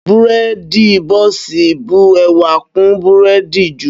Bírèèdì bọ́ọ̀sì bu ẹwà kún bírèèdì jù